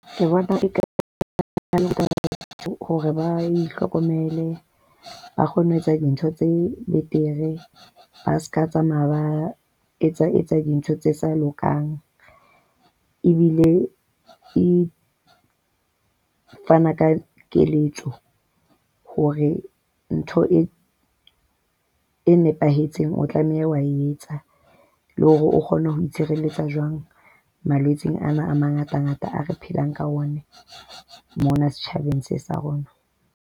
Ke bona quite hore ba itlhokomele, ba kgone ho etsa dintho tse betere. Ba se ka tsamaya ba etsa etsa dintho tse sa lokang ebile e fana ka keletso hore ntho e e nepahetseng o tlameha wa etsa le hore o kgone ho itshireletsa jwang malwetseng ana a mangatangata ao re phelang ka ona mona setjhabeng sa rona.